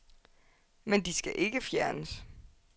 Men de skal ikke fjernes.